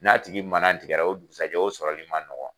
N'a tigi manatigɛ la , o dugusajɛ o tigi sɔrɔli ma nɔgɔn.